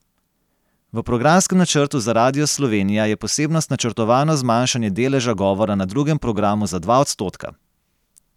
V programskem načrtu za Radio Slovenija je posebnost načrtovano zmanjšanje deleža govora na drugem programu za dva odstotka.